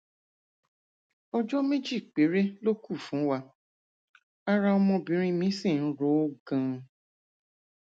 ọjọ méjì péré ló kù fún wa ara ọmọbìnrin mi sì ń ro ó ganan